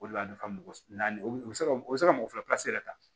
O de la a nafa naani o bɛ se ka u bɛ se ka mɔgɔ fila pilasi yɛrɛ ta